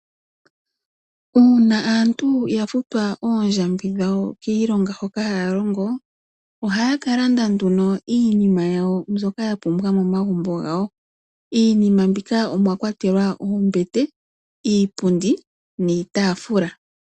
Uuna aantu ya futwa oondjambi dhawo kiilonga hoka haya longo, ohaya ka landa nduno iinima yawo mbyoka ya pumbwa momagumbo gawo. Iinima mbika omwa kwatelwa oombete, iipundi niitaafula.